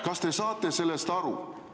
Kas te saate sellest aru?